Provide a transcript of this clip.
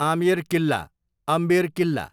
अमेर किल्ला, अम्बेर किल्ला